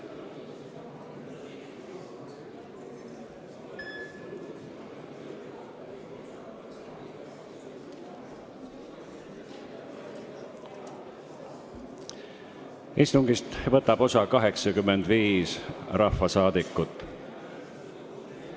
Kohaloleku kontroll Istungist võtab osa 85 rahvasaadikut.